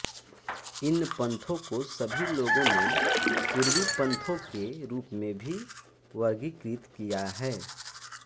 इन पन्थों को सभी लोगों नें पूर्वी पन्थों के रूप में भी वर्गीकृत किया है